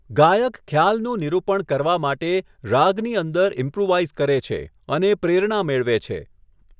ગાયક ખ્યાલનું નિરૂપણ કરવા માટે રાગની અંદર ઇમ્પ્રૂવાઇઝ કરે છે અને પ્રેરણા મેળવે છે.